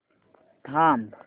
थांब